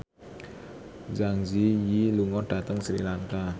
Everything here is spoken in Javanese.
Zang Zi Yi lunga dhateng Sri Lanka